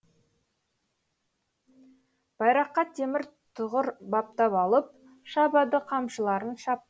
байраққа темір тұғыр баптап алып шабады қамшыларын шап